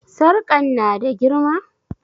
Sarƙan na da girma?